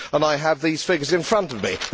I have these figures in front of me.